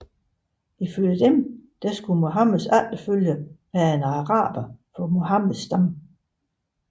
Ifølge dem skulle Muhammeds efterfølger være en araber fra Muhammeds stamme